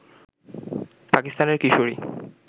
পাকিস্তানের কিশোরী